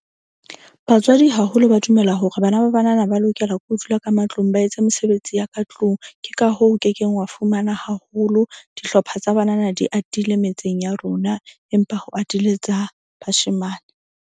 Batswadi haholo ba dumela hore bana ba banana ba lokela ke ho dula ka matlung ba etse mesebetsi ya ka tlung. Ke ka hoo o kekeng wa fumana haholo dihlopha tsa banana di atile metseng ya rona. Empa ho atile tsa bashemane.